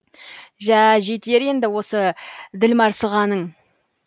жә жетер енді осы ділмарсығаның